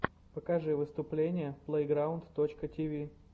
покажи выступления плэйграунд точка тиви